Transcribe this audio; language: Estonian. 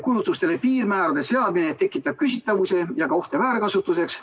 Kulutustele piirmäärade seadmine tekitab küsitavusi ja ka ohte väärkasutuseks.